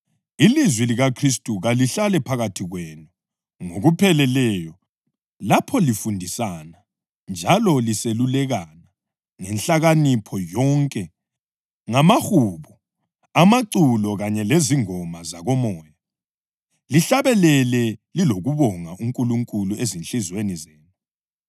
Ilizwi likaKhristu kalihlale phakathi kwenu ngokupheleleyo lapho lifundisana njalo liselulekana ngenhlakanipho yonke, ngamahubo, amaculo kanye lezingoma zakoMoya, lihlabelele lilokubonga uNkulunkulu ezinhliziyweni zenu.